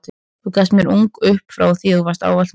Þú gafst mér ung og upp frá því varstu ávallt mín.